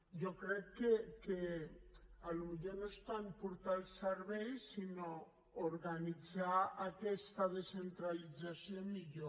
jo crec que potser no és tant portar els serveis sinó organitzar aquesta descentralització millor